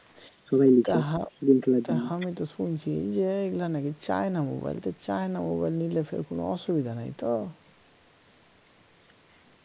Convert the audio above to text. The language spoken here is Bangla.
তা আমি তো শুনছি যে এগুলা নাকি চায়না mobile তা চায়না mobile নিলে কোনো অসুবিধা নাই তো